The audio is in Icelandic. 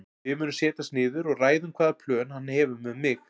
Við munum setjast niður og ræða um hvaða plön hann hefur með mig.